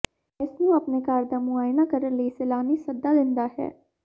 ਇਸ ਨੂੰ ਆਪਣੇ ਘਰ ਦਾ ਮੁਆਇਨਾ ਕਰਨ ਲਈ ਸੈਲਾਨੀ ਸੱਦਾ ਦਿੰਦਾ ਹੈ